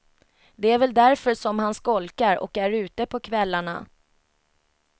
Det är väl därför som han skolkar och är ute på kvällarna.